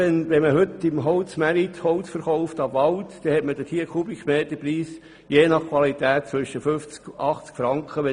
Verkauft man heute auf dem Holzmarkt direkt ab Wald, hat man je nach Qualität einen Kubikmeterpreis von 50 bis 80 Franken.